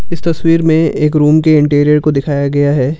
इस तस्वीर में एक रूम के इंटीरियर को दिखाया गया है।